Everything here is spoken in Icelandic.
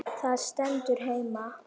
Það stendur heima.